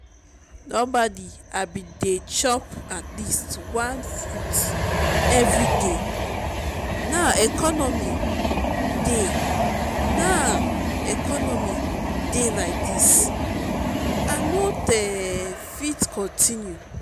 normally i bin dey chop atleast one fruit everyday now economy dey now economy dey like dis i no fit continue